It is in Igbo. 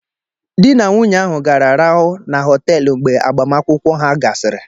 Di na nwunye ahụ gara raụo na họteelụ mgbe agbamakwụkwọ ha gasịrị